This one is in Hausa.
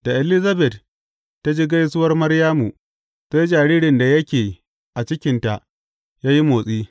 Da Elizabet ta ji gaisuwar Maryamu, sai jaririn da yake a cikinta ya yi motsi.